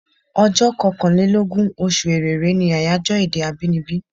Ọjọ́ kankàn lé lógún, oṣù Èrèré ní àyájọ́ èdè abínibí.